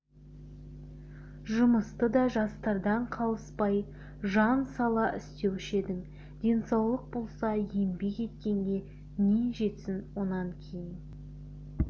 жұмысты да жастардан қалыспай жан сала істеуші едің денсаулық болса еңбек еткенге не жетсін онан кейін